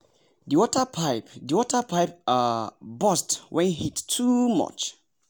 the water pipe the water pipe um burst when heat too much.